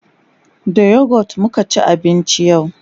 da youghurt muka ci abinci yau